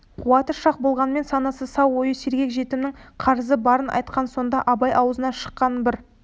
қуаты шақ болғанымен санасы сау ойы сергек жетімнің қарызы барын айтқан сонда абай аузынан шыққан бір